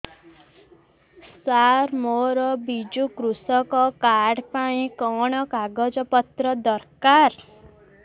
ସାର ମୋର ବିଜୁ କୃଷକ କାର୍ଡ ପାଇଁ କଣ କାଗଜ ପତ୍ର ଦରକାର